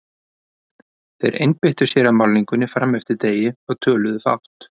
Þeir einbeittu sér að málningunni fram eftir degi og töluðu fátt.